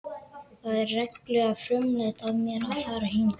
Það var reglulega frumlegt af mér að fara hingað.